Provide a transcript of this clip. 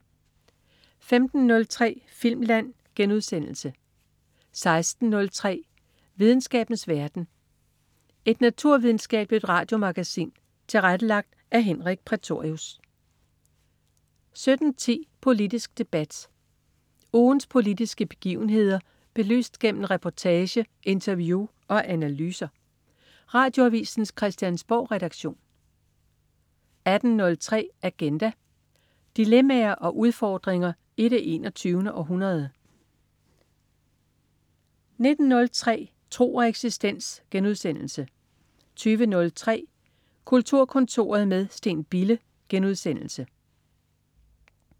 15.03 Filmland* 16.03 Videnskabens verden. Et naturvidenskabeligt radiomagasin tilrettelagt af Henrik Prætorius 17.10 Politisk debat. Ugens politiske begivenheder belyst gennem reportage, interview og analyser. Radioavisens Christiansborgredaktion 18.03 Agenda. Dilemmaer og udfordringer i det 21. århundrede 19.03 Tro og eksistens* 20.03 Kulturkontoret med Steen Bille*